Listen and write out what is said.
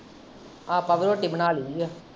ਆਪ ਵੀ ਰੋਟੀ ਬਣਾ ਲਯਈਂ ਆ।